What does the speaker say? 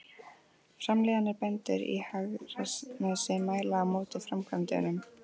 Framliðnir bændur í Hegranesi mæli á móti framkvæmdunum.